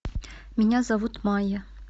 меня зовут майя